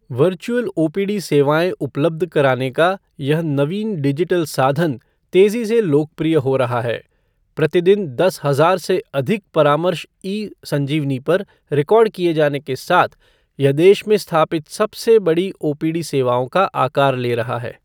Virtual OPD सेवाएं उपलब्ध कराने का यह नवीन डिजिटल साधन तेजी से लोकप्रिय हो रहा हैI प्रतिदिन दस हज़ार से अधिक परामर्श ई संजीवनी पर रिकॉर्ड किए जाने के साथ, यह देश में स्थापित सबसे बड़ी ओपीडी सेवाओं का आकार ले रहा है।